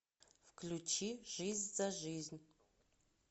включи жизнь за жизнь